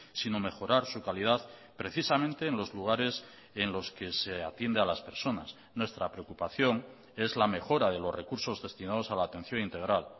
sino mejorar su calidad precisamente en los lugares en los que se atiende a las personas nuestra preocupación es la mejora de los recursos destinados a la atención integral